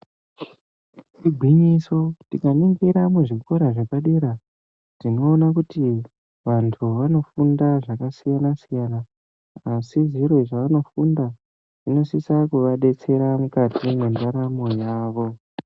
Igwinyiso tikaningira muzvikora zvepadera tinoona kuti vantu vanofunda zvakasiyana-siyana asi zviro zvavanofunda zvinosisa kuvadetsera mukati nderamo yavo.